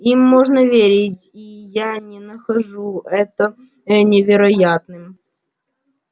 им можно верить ии я не нахожу это невероятным